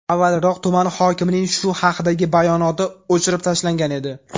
Avvalroq tuman hokimining shu haqdagi bayonoti o‘chirib tashlangan edi.